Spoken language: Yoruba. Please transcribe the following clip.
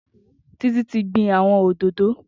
Titi ti gbin awọn ódódóò